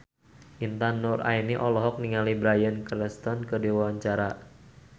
Intan Nuraini olohok ningali Bryan Cranston keur diwawancara